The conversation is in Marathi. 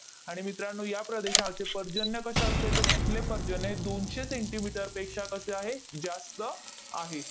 आणि मित्रांनो, या प्रदेशाचे पर्जन्य कसे असते? तर तिथले पर्जन्य हे दोनशे सेंटिमीटरपेक्षा कसे आहे? जास्त आहे.